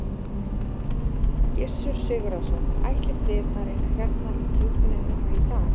Gissur Sigurðsson: Ætlið þið að reyna hérna í djúpinu núna í dag?